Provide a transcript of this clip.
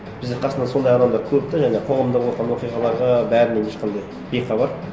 бізде қасымда сондай адамдар көп те жаңағы қоғамда болған оқиғаларға бәрінен ешқандай бейхабар